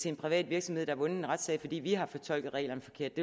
en privat virksomhed der har vundet en retssag fordi vi har fortolket reglerne forkert